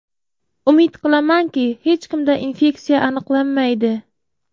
Umid qilamanki, hech kimda infeksiya aniqlanmaydi.